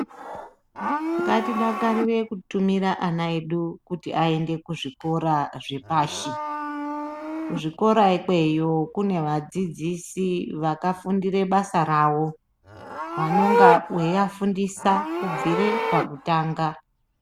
Ngatidakarire kutumira ana edu kuti aende kuzvikora zvepashi. Kuzvikora ikweyo kune vadzidzisi vakafundire basa ravo vanonga veivafundisa kubvire pakutanga.